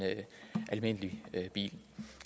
almindelig bil